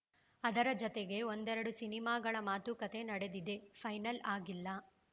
ಅದರ ಜತೆಗೆ ಒಂದೆರೆಡು ಸಿನಿಮಾಗಳ ಮಾತುಕತೆ ನಡೆದಿದೆ ಫೈನಲ್‌ ಆಗಿಲ್ಲ